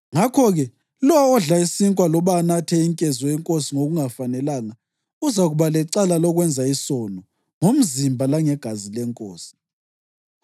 Ngakho-ke, lowo odla isinkwa loba anathe inkezo yenkosi ngokungafanelanga uzakuba lecala lokwenza isono ngomzimba langegazi leNkosi.